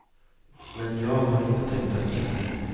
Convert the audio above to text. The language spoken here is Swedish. Men jag har inte tänkt tanken.